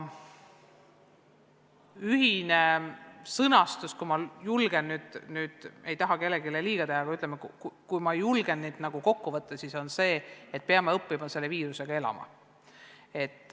Ühine sõnum – kui ma julgen nüüd öelda, ma ei taha kellelegi liiga teha – on kokkuvõttes selline, et me peame õppima selle viirusega elama.